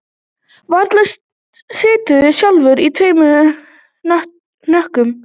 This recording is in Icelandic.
Varla siturðu sjálfur í tveim hnökkum